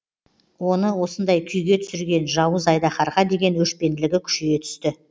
оны осындай күйге түсірген жауыз айдаһарға деген өшпенділігі күшейе түсті